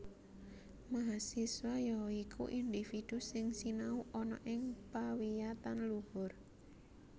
Mahasiswa ya iku individu sing sinau ana ing pawiyatan luhur